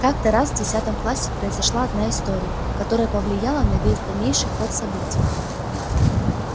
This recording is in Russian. как-то раз в десятом классе произошла одна история которая повлияла на весь дальнейший ход событий